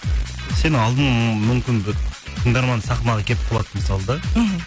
сен алдың мүмкін тыңдарман сахнаға келіп қуады мысалы да іхі